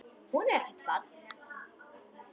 Hún er ekkert barn.